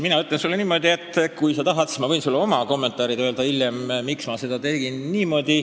Ma ütlen sulle niimoodi, et kui sa tahad, siis ma võin sulle hiljem oma kommentaarid öelda, miks ma niimoodi tegin.